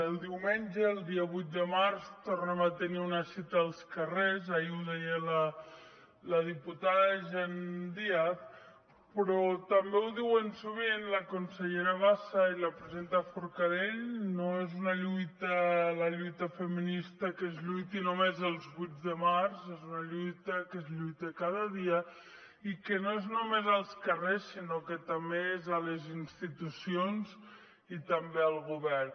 el diumenge el dia vuit de març tornem a tenir una cita als carrers ahir ho deia la diputada jenn díaz però també ho diuen sovint la consellera bassa i la presidenta forcadell no és una lluita la lluita feminista que es lluiti només els vuit de març és una lluita que es lluita cada dia i que no és només als carrers sinó que també és a les institucions i també al govern